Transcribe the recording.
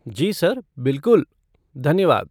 जी sir, बिलकुल, धन्यवाद।